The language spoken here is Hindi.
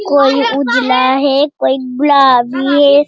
कोई उजला है कोई गुलाबी है।